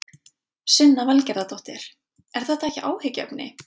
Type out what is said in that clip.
Sunna Valgerðardóttir: Er þetta ekki áhyggjuefni?